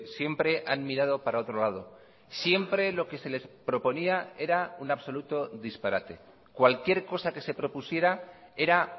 siempre han mirado para otro lado siempre lo que se les proponía era un absoluto disparate cualquier cosa que se propusiera era